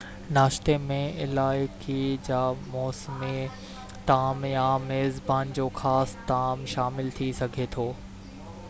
ناشتي ۾ علائقي جا موسمي طعام يا ميزبان جو خاص طعام شامل ٿي سگھي ٿي